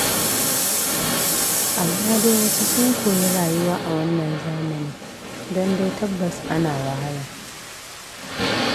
Amma dai wasu sun koyi rayuwa a wannan zamani don dai tabbas ana wahala.